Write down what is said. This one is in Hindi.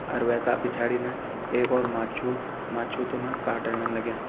अर वैका पिछाड़िन एक और माछू माछू तोना काटाणन लग्यां।